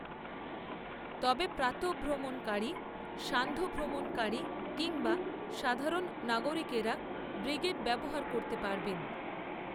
তবে প্রাতঃভ্রমণকারী সান্ধ্যভ্রমণকারী কিংবা সাধারণ নাগরিকেরা ব্রিগেড ব্যবহার করতে পারবেন